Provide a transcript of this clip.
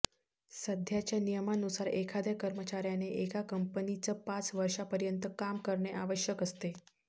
सध्याच्या नियमानुसार एखाद्या कर्मचाऱ्याने एका कंपनीच पाच वर्षापर्यंत काम करणे आवश्यक असते